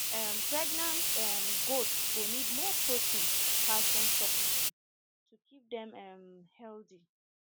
um pregnant um goats go need more protein and calcium to keep dem um healthy